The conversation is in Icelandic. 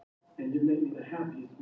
Mikill stormur geisaði á svæðinu